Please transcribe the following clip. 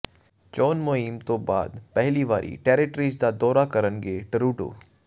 ਚੋਣ ਮੁਹਿੰਮ ਤੋਂ ਬਾਅਦ ਪਹਿਲੀ ਵਾਰੀ ਟੈਰੇਟਰੀਜ਼ ਦਾ ਦੌਰਾ ਕਰਨਗੇ ਟਰੂਡੋ